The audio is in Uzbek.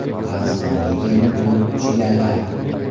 Qirg‘izistonga kelin bo‘lib tushganlar.